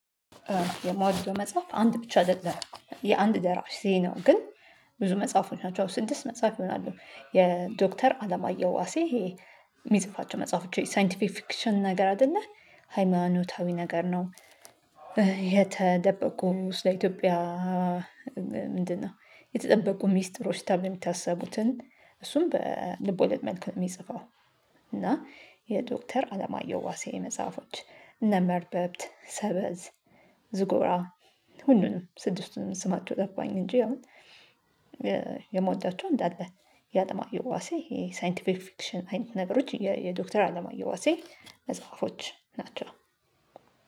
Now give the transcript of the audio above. የምወደው መጽሐፍ አንድ ብቻ አደለም የአንድ ደራሲ ነው ግን ብዙ መጽሐፎች ናቸው ስድስት መጽሐፍ ይሆናሉ የዶክተር አለማየሁ ዋሴ ይሄ የሚጽፋቸው መጽሐፎች የሳይንቲፊክሽን ነገር አይደለ ሃይማኖታዊ ነገር ነው። የተደበቁ ስለ ኢትዮጵያ ምንድነው? የተጠበቁ ሚስጥሮች ተብሎ ሚታሰቡትን እሱም በልቦለድ መልኩ ነው የሚጽፈው። እና የዶክተር አለማየሁ ዋሴ መጽሐፎች እነ መርበብት ሰበዝ ዝጎራ ሁሉንም ስድስቱን ስማቸው ጠፋኝ። እንጂ አሁን የምወዳቸው እንዳለ የአለማዮ ዋሴ የሳይንቲፊክ ፍክሽን አይነት ነገሮች የዶክተር አለማዮ ዋሴ መጽሐፎች ናቸው